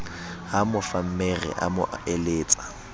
ha mofammere a mo eletsa